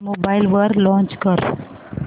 mobile वर launch कर